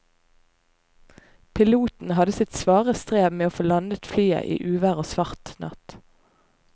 Piloten hadde sitt svare strev med å få landet flyet i uvær og svart natt.